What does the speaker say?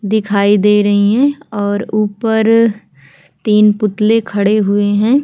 दिखाई दे रही हैं और ऊपर तीन पुतले खड़े हुए हैं।